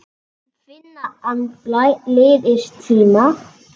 Finna andblæ liðins tíma.